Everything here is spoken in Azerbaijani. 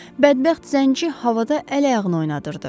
Bədbəxt zənci havada əl-ayağını oynadırdı.